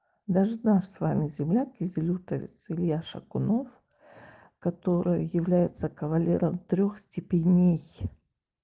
даже наш с вами земляк изилютовец илья шакунов который является кавалером трёх степеней